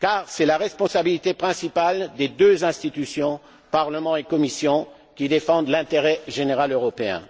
C'est la responsabilité principale des deux institutions, Parlement et Commission, qui défendent l'intérêt général européen.